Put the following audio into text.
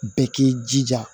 Bɛɛ k'i jija